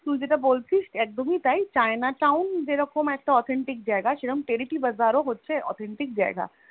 তুই যেটা বলছিস একমি তাই তুই যেটা বলছিস China town যেরকম একটা Authentic জায়গা সেরম তেরোটি Bazaar ও হচ্ছ একদম Authentic জেগে